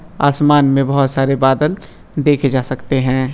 आसमान में बहुत सारे बादल देखे जा सकते हैं।